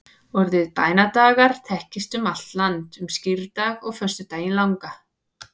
orðið bænadagar þekkist um allt land um skírdag og föstudaginn langa